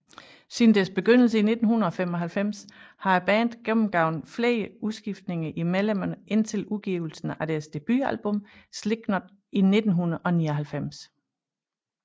Siden deres begyndelse i 1995 har bandet gennemgået flere udskiftninger i medlemmerne indtil udgivelsen af deres debutalbum Slipknot i 1999